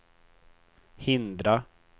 hindra